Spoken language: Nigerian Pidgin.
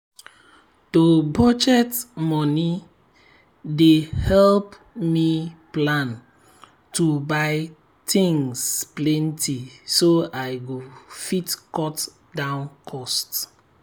to budget moni dey help me plan to buy things plenty so i go fit cut down cost.